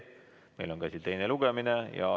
Meil on käsil teine lugemine.